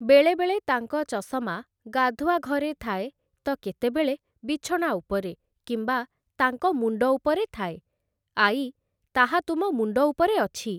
ବେଳେବେଳେ ତାଙ୍କ ଚଷମା ଗାଧୁଆଘରେ ଥାଏ ତ କେତେବେଳେ ବିଛଣା ଉପରେ କିମ୍ବା ତାଙ୍କ ମୁଣ୍ଡ ଉପରେ ଥାଏ । ଆଈ, ତାହା ତୁମ ମୁଣ୍ଡ ଉପରେ ଅଛି!